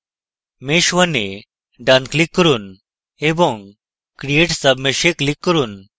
mesh _ 1 এ ডান click করুন এবং create submesh এ click করুন